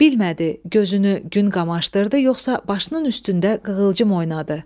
Bilmədi gözünü gün qamaşdırdı yoxsa başının üstündə qığılcım oynadı.